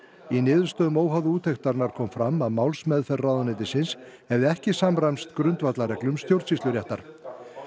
í niðurstöðum óháðu úttektarinnar kom fram að málsmeðferð ráðuneytisins hefði ekki samræmst grundvallarreglum stjórnsýsluréttar